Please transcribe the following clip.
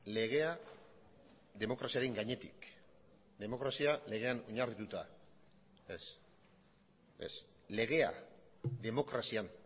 legea demokraziaren gainetik demokrazia legean oinarrituta ez ez legea demokrazian